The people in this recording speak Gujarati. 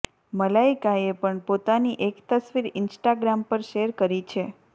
મલાઈકાએ પણ પોતાની એક તસ્વીર ઇન્સ્ટાગ્રામ પર શેર કરી છે